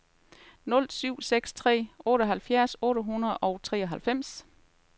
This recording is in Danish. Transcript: nul syv seks tre otteoghalvfjerds otte hundrede og treoghalvfems